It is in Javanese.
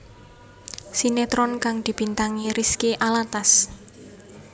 Sinetron kang dibintangi Rizky Alatas